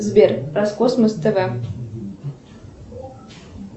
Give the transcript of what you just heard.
сбер роскосмос тв